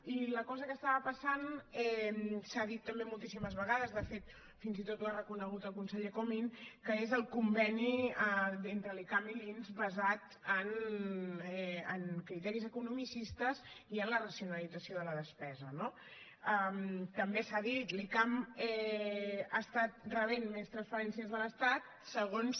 i la cosa que estava passant s’ha dit també moltíssimes vegades de fet fins i tot ho ha reconegut el conseller comín és el conveni entre l’icam i l’inss basat en criteris economicistes i en la racionalització de la despesa no també s’ha dit l’icam ha estat rebent més transferències de l’estat segons